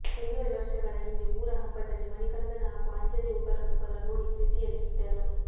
ಒಂದೂವರೆ ವರ್ಷಗಳ ಹಿಂದೆ ಊರ ಹಬ್ಬದಲ್ಲಿ ಮಣಿಕಂದನ್ ಹಾಗೂ ಆಂಜಲಿ ಒಬ್ಬರನ್ನೊಬ್ಬರ ನೋಡಿ ಪ್ರೀತಿಯಲ್ಲಿ ಬಿದ್ದರು